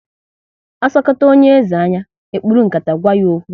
Asokata onye eze anya, e kpuru nkata gwa ya okwu